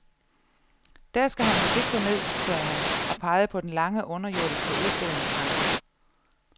Der skal han vist ikke gå ned, sagde han og pegede på den lange underjordiske udstillingsgang.